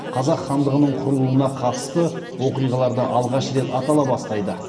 қазақ хандығының құрылуына қатысты оқиғаларда алғаш рет атала бастайды